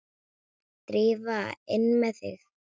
Drífa, inn með þig!